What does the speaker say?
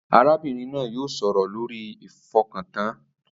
Arábìnrin náà yóò sọ̀rọ̀ lórí ìfọkàntàn